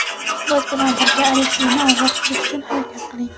biz bilan birga Alekseyni ozod qilish uchun harakat qiling.